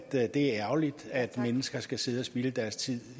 at det er ærgerligt at mennesker skal sidde og spilde deres tid